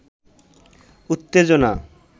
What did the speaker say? উত্তেজনা